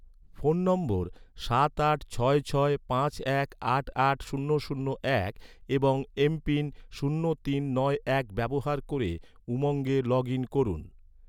phone নম্বর সাত আট ছয় ছয় পাঁচ এক আট আট শূন্য শূন্য এক এবং এমপিন শূন্য তিন নয় এক ব্যবহার ক’রে, উমঙ্গে লগ ইন করুন